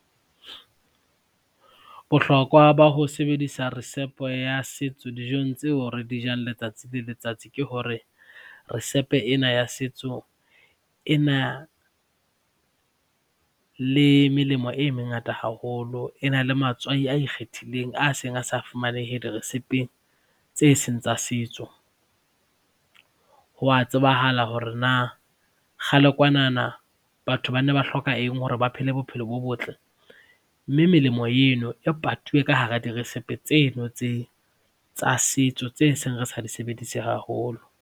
Bohlokwa ba ho sebedisa risepe ya setso dijong tseo re di jang letsatsi le letsatsi ke hore risepe ena ya setso ena le melemo e mengata haholo. E na le matswai a ikgethileng a seng a sa fumanehe dirisepe tse seng tsa setso. Ho wa tsebahala hore na kgale kwanana batho ba ne ba hloka eng hore ba phele bophelo bo botle, mme melemo eno e patuwe ka hara dirisepe tseno tsa setso tse seng re sa di sebedise haholo.